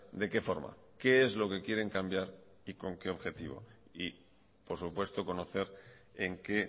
de qué forma qué es lo que quieren cambiar y con qué objetivo y por supuesto conocer en qué